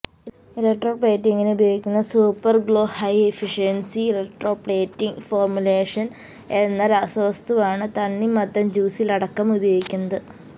electro പ്ലേറ്റിംഗിന് ഉപയോഗിക്കുന്ന super glow high efficiency electroplating formulation എന്ന രാസവസ്തുവാണ് തണ്ണിമത്തന് ജ്യൂസില് അടക്കം ഉപയോഗിക്കുന്നത്